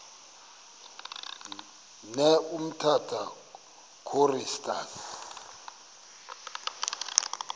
ne umtata choristers